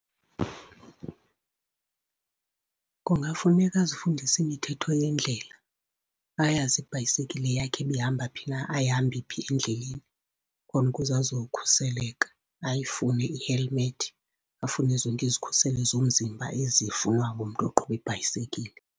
Kungafuneka azifundise imithetho yendlela. Ayazi ibhayisekile yakhe uba ihamba phi na, ayihambi phi endleleni, khona ukuze azokhuseleka. Ayifune i-helmet, afune zonke izikhuselo zomzimba ezifunwa ngumntu oqhuba ibhayisekile.